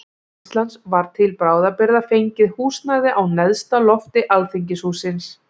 Háskóla Íslands var til bráðabirgða fengið húsnæði á neðsta lofti alþingishússins.